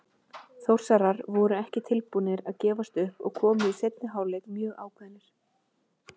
Þórsarar voru ekki tilbúnir að gefast upp og komu í seinni hálfleik mjög ákveðnir.